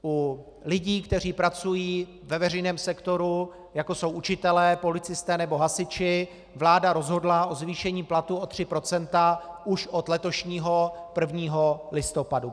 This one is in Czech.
U lidí, kteří pracují ve veřejném sektoru, jako jsou učitelé, policisté nebo hasiči, vláda rozhodla o zvýšení platů o 3 % už od letošního 1. listopadu.